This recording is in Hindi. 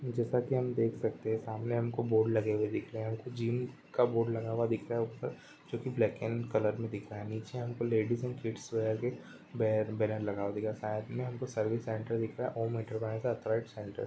जैसा कि हम देख सकते हैं सामने हमको बोर्ड लगे हुए दिख रहे है हमको जिम का बोर्ड लगा हुआ दिख रहा है ऊपर जो कि ब्लैक कलर का दिख रहा है नीचे हमको लेडिस एंड किड्स वियर के बै बैनर लगा हुआ दिख रहा है साथ में हमको सर्विस सेंटर दिख रहा है और थॉट सेंटर दिख --